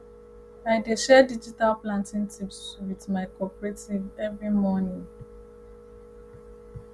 i dey share digital planting tips wit my cooperative every morning